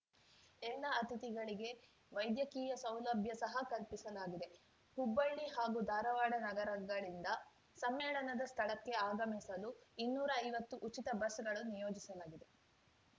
ಎಲ್ಲ ಅತಿಥಿಗಳಿಗೆ ವೈದ್ಯಕೀಯ ಸೌಲಭ್ಯ ಸಹ ಕಲ್ಪಿಸಲಾಗಿದೆ ಹುಬ್ಬಳ್ಳಿ ಹಾಗೂ ಧಾರವಾಡ ನಗರಗಳಿಂದ ಸಮ್ಮೇಳನದ ಸ್ಥಳಕ್ಕೆ ಆಗಮಿಸಲು ಇನ್ನೂರೈವತ್ತು ಉಚಿತ ಬಸ್‌ಗಳನ್ನು ನಿಯೋಜಿಸಲಾಗಿದೆ